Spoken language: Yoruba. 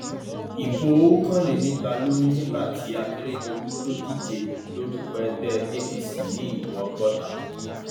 ibo okòólénígba ló ní nígbà tí akérèdọlù tó ń díje lórúkọ ẹgbẹ apc ní ìbò ọgọta